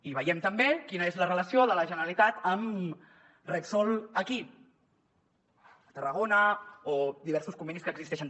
i veiem també quina és la relació de la generalitat amb repsol aquí a tarragona o diversos convenis que existeixen